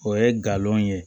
O ye galon ye